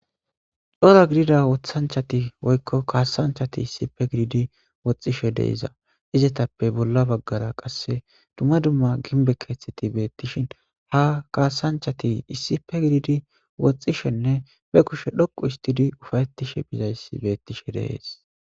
Dhora gidida wothanchati woykko kaasanchati issipe gididi woxxishe deiza izetappe bolla baggara qasse dumma dumma ginbe keeththeti beettishin ha kaasanchati issipe gididi woxxishenne be kushe dhoqu istidi ufayettishe bizayssi beettishe deees.